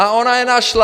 A ona je našla.